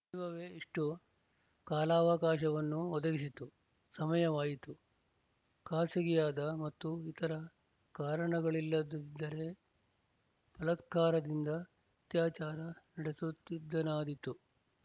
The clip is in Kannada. ದೈವವೇ ಇಷ್ಟು ಕಾಲಾವಕಾಶವನ್ನು ಒದಗಿಸಿತು ಸಮಯವಾಯಿತು ಖಾಸಗಿಯಾದ ಮತ್ತು ಇತರ ಕಾರಣಗಳಿಲ್ಲದಿದ್ದರೆ ಬಲಾತ್ಕಾರದಿಂದ ಅತ್ಯಾಚಾರ ನಡಸುತ್ತಿದ್ದನಾದೀತು